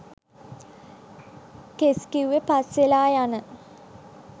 කෙස් කිව්වෙ පස්වෙලා යන